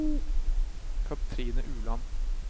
Kathrine Ueland